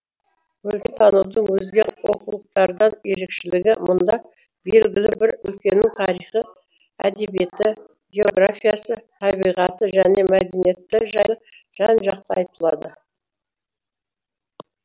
өлкетанудың өзге оқулықтардан ерекшелігі мұнда белгілі бір өлкенің тарихы әдебиеті географиясы табиғаты және мәдениеті жайлы жан жақты айтылады